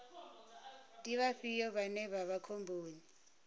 ndi vhafhio vhane vha vha khomboni